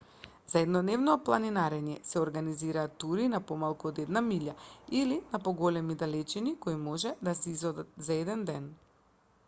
за еднодневно планинарење се организираат тури на помалку од една милја или на поголеми далечини кои можат да се изодат за еден ден